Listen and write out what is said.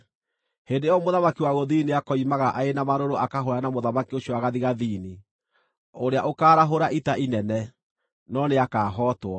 “Hĩndĩ ĩyo mũthamaki wa gũthini nĩakoimagara arĩ na marũrũ akahũũrane na mũthamaki ũcio wa gathigathini, ũrĩa ũkaarahũra ita inene, no nĩakahootwo.